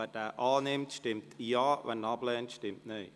Wer diesen annimmt, stimmt Ja, wer diesen ablehnt, stimmt Nein.